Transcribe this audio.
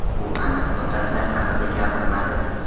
U aniq muddatlar haqida gapirmadi.